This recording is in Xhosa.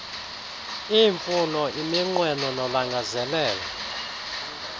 iimfuno iminqweno nolangazelelo